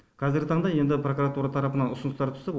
қазіргі таңда енді прокуратура тарапынан ұсыныстар түсіп